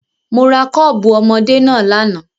Mo ra kọ́ọ̀bù ọmọdé náà lánàá.